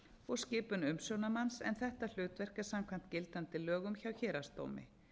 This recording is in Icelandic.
og skipun umsjónarmanns en þetta hlutverk er samkvæmt gildandi lögum hjá héraðsdómi